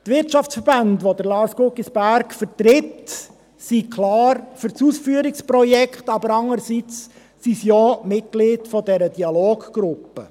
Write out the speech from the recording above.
Die Wirtschaftsverbände, die Lars Guggisberg vertritt, sind einerseits klar für das Ausführungsprojekt, aber andererseits sind sie auch Mitglied der Dialoggruppe.